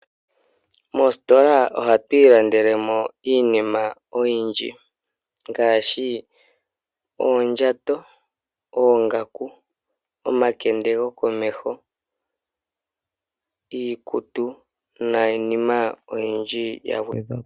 Moositola ohatu ilandelemo iinima oyindji ngaashi oondjato, oongaku, omakende gokomeho, iikutu niinima oyindji yagwedhwapo.